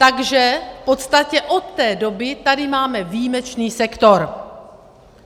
Takže v podstatě od té doby tady máme výjimečný sektor.